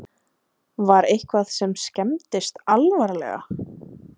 Fréttamaður: Var eitthvað sem skemmdist alvarlega?